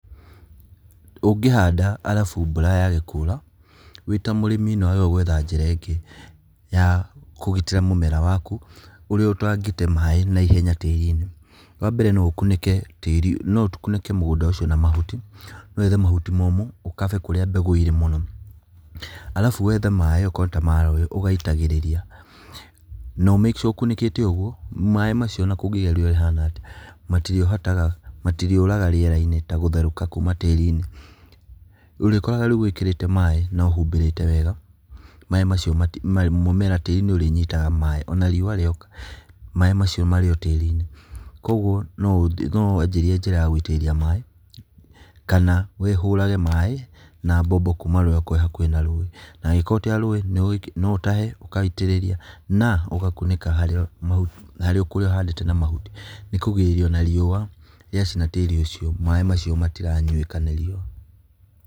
Ũngĩhanda arabu mbura yage kura, wĩ ta mũrĩmi nĩwagĩrĩirwo kwetha njĩra ĩngĩ, ya kũgitĩra mũmera waku, ũrĩa ũtangĩte maĩ naihenya tĩri-inĩ. Wambere noũkunĩke tĩri, noũkunĩke mũgũnda ũcio na mahuti, wethe mahuti momũ, ũkabe kũrĩa mbegũ ĩrĩ mũno, arabu wethe maĩ okorwo nĩta maĩ ũgaitagĩrĩria no make sure ona ũkunĩkĩte ũguo, maĩ macio ona kũngĩgĩa rĩera rĩhana atĩa, matirĩhotaga, matirĩũraga rĩera-inĩ ta gũtherũka kuma tĩri-inĩ, ũrĩkoraga rĩu wĩkĩrĩte maĩ nohumbĩrĩte wega, maĩ macio mati mũmera atĩ nĩũrĩnyitaga maĩ, ona riũa rĩoka, maĩ macio marĩ o tĩri-inĩ koguo, nowanjirie njĩra ya gũitĩrĩria maĩ, kana, wĩhũrage maĩ, na mbombo kuma rũĩ kũrĩ arĩa me hakuhĩ na rũĩ, angĩko ta rũĩ noũtahe ũkaitĩrĩria, na, ũgakunĩka harĩa ma harĩa ũkũhandĩte na mahuti, nĩkũgirĩrĩria ona riũa rĩacina tĩri ũcio, maĩ macio matiranywĩka nĩ riũa.